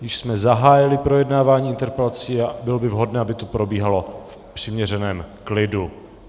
Již jsme zahájili projednávání interpelací a bylo by vhodné, aby to probíhalo v přiměřeném klidu.